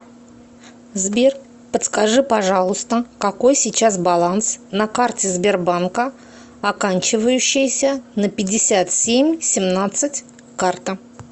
сбер подскажи пожалуйста какой сейчас баланс на карте сбербанка оканчивающейся на пятьдесят семь семнадцать карта